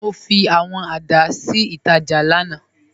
Mo fi awọn giláṣí ni ítajà lánà.